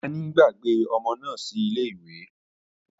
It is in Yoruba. Naní gbàgbé ọmọ náà sílè ìwẹ̀